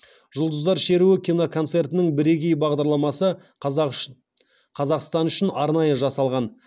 жұлдыздар шеруі киноконцертінің бірегей бағдарламасы қазақстан үшін арнайы жасалған